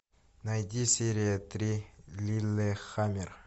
найди серия три лиллехаммер